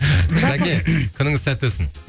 күніңіз сәтті өтсін